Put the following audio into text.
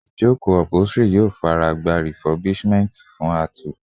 Ijoko upholstery yoo faragba refurbishment fun a tù